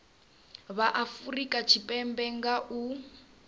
vha afurika tshipembe nga u